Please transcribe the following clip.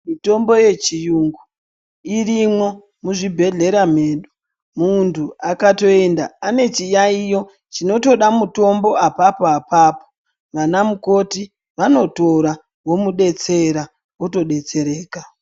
Mitombo yechiyungu irimo muzvibhedhlera medu. Muntu akatoenda ane chiyaiyo chinotoda mutombo apapo apapo vanamukoti vanotora vomudetsera, otodetsereka.